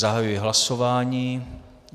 Zahajuji hlasování.